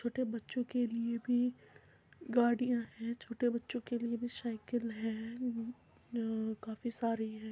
छोटे बच्चों के लिए भी गाड़िया हैं छोटे बच्चों के लिए भी शाइकिल है अ काफी सारी हैं।